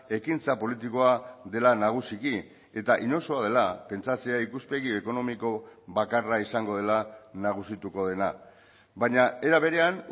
ekintza politikoa dela nagusiki eta inozoa dela pentsatzea ikuspegi ekonomiko bakarra izango dela nagusituko dena baina era berean